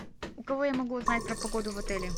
у кого я могу узнать про погоду в отеле